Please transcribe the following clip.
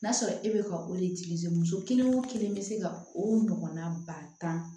N'a sɔrɔ e bɛ ka muso kelen o kelen bɛ se ka o ɲɔgɔnna ba tan